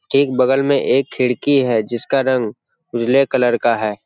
ठीक बगल में एक खिड़की है जिसका रंग उजले कलर का है।